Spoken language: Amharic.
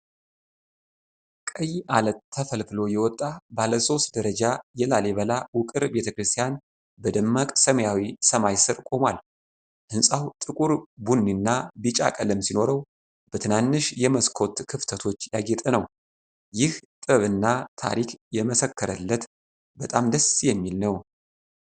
ቀይ ዐለት ተፈልፍሎ የወጣ ባለ ሶስት ደረጃ የላሊበላ ውቅር ቤተክርስቲያን በደማቅ ሰማያዊ ሰማይ ስር ቆሟል። ሕንፃው ጥቁር ቡኒ እና ቢጫ ቀለም ሲኖረው፣ በትናንሽ የመስኮት ክፍተቶች ያጌጠ ነው። ይህ ጥበብና ታሪክ የመሰከረለት በጣም ደስ የሚል ነው።